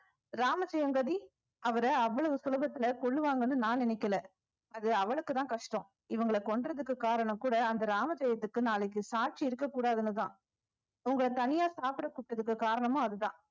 ராமஜெயங்கதி அவரை அவ்வளவு சுலபத்துல கொல்லுவாங்கன்னு நான் நினைக்கல அது அவளுக்குதான் கஷ்டம் இவங்கள கொல்றதுக்கு காரணம் கூட அந்த ராமஜெயத்துக்கு நாளைக்கு சாட்சி இருக்க கூடாதுன்னுதான் உங்கள தனியா சாப்பிட கூப்பிட்டதுக்கு காரணமும் அதுதான்